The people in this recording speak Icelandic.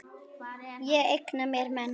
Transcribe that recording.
Ég eigna mér menn.